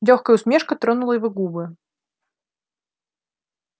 лёгкая усмешка тронула его губы